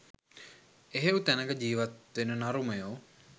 එහෙව් තැනක ජීවත් වෙන නරුමයෝ